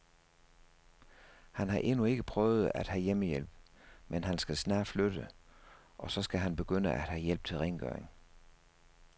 Han har endnu ikke prøvet at have hjemmehjælp, men han skal snart flytte, og så skal han begynde at have hjælp til rengøringen.